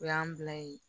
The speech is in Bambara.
O y'an bila yen